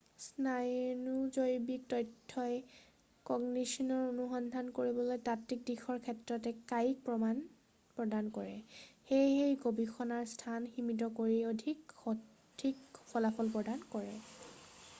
স্নায়ুজৈৱিক তথ্যই কগনিশ্যনৰ অনুসন্ধান কৰিবলৈ তাত্বিক দিশৰ ক্ষেত্ৰত এক কায়িক প্ৰমাণ প্ৰদান কৰে সেয়ে ই গৱেষণাৰ স্থান সীমিত কৰি অধিক সঠিক ফলাফল প্ৰদান কৰে